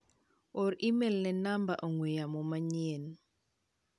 or imel ne namba ong'ue yamo manyien.